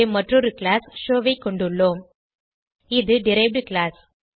இங்கே மற்றொரு class show ஐ கொண்டுள்ளோம் இது டெரைவ்ட் கிளாஸ்